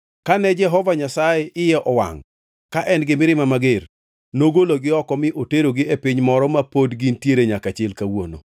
Kane Jehova Nyasaye iye owangʼ ka en gi mirima mager, nogologi oko mi oterogi e piny moro ma pod gintiere nyaka chil kawuono.”